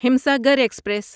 Himsagar express